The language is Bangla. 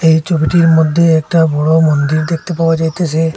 এই ছবিটির মধ্যে একটা বড় মন্দির দেখতে পাওয়া যাইতেসে।